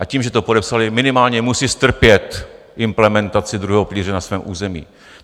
A tím, že to podepsaly, minimálně musí strpět implementaci druhého pilíře na svém území.